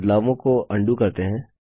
बदलावों को अन्डू करते हैं